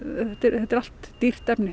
þetta er allt dýrt efni